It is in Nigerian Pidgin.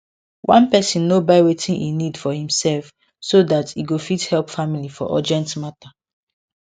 one person no buy wetin e need for imself so dat e go fit help family for urgent matter